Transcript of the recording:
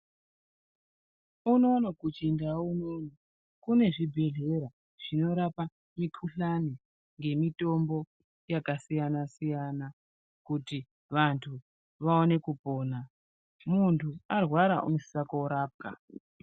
Unono muchindau unono kune zvibhedhlera zvinorapa mikuhlani nemitombo yakasiyana siyana Kuti vantu vaone kupona muntu arwara anosisa korapwa.